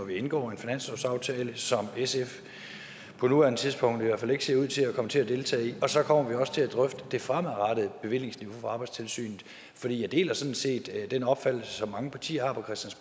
vi indgår en finanslovsaftale som sf på nuværende tidspunkt i hvert fald ikke ser ud til at komme til at deltage i og så kommer vi også til at drøfte det fremadrettede bevillingsniveau for arbejdstilsynet for jeg deler sådan set den opfattelse som mange partier